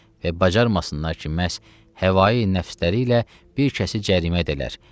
Və bacarmasınlar ki, məhz həvai nəfsləri ilə bir kəsi cərimə edələr.